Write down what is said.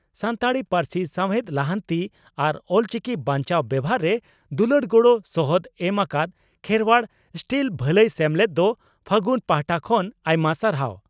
ᱥᱟᱱᱛᱟᱲᱤ ᱯᱟᱹᱨᱥᱤ ᱥᱟᱣᱦᱮᱫ ᱞᱟᱦᱟᱱᱛᱤ ᱟᱨ ᱚᱞᱪᱤᱠᱤ ᱵᱟᱧᱪᱟᱣ ᱵᱮᱵᱷᱟᱨ ᱨᱮ ᱫᱩᱞᱟᱹᱲ ᱜᱚᱲᱚ ᱥᱚᱦᱚᱫ ᱮᱢ ᱟᱠᱟᱫ ᱠᱷᱮᱨᱚᱣᱟᱲ ᱥᱴᱤᱞ ᱵᱷᱟᱞᱟᱹᱭ ᱥᱮᱢᱞᱮᱫ ᱫᱚ 'ᱯᱷᱟᱹᱜᱩᱱ' ᱯᱟᱦᱴᱟ ᱠᱷᱚᱱ ᱟᱭᱢᱟ ᱥᱟᱨᱦᱟᱣ ᱾